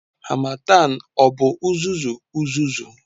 Harmattan ọ bụ uzuzu uzuzu?